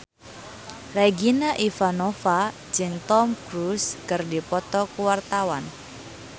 Regina Ivanova jeung Tom Cruise keur dipoto ku wartawan